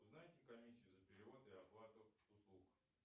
узнайте комиссию за перевод и оплату услуг